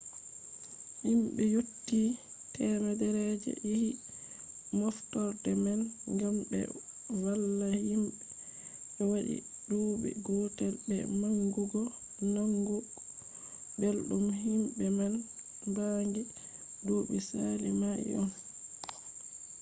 himbe yotti 100 je yahi moftorde man gam be valla himbe je wadi duubi gotel be bangugo nanugo beldum himbe man bangi duubi sali mai on